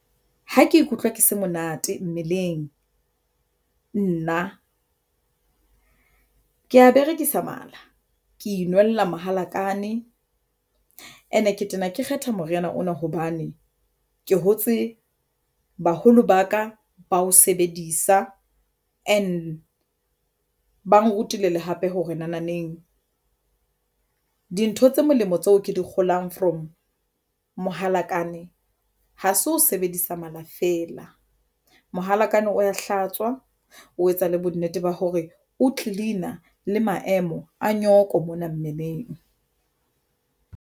Ha ke ikutlwa ke se monate mmeleng, nna ke ya berekisa mala, ke inwella mohalakane and-e ke tena ke kgetha moriana ona hobane ke hotse ke baholo ba ka ba ho sebedisa and ba nrutile le hape hore naneng dintho tse molemo tseo ke di kgolang from mohalakane ha se o sebedisa mala feela, mohalakane o wa hlatswa, o etsa le bonnete ba hore o clean-a le maemo a nyoko mona mmeleng.